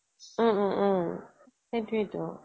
ওম ওম ওম সেইটোয়েই তো